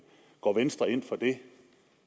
går venstre ind for det